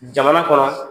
Jamana kɔnɔ